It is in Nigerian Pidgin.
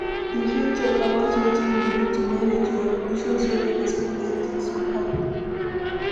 you fit talk about wetin you do to manage your emotions when unexpected things happen?